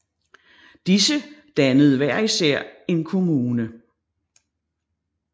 Disse dannede hver især en kommune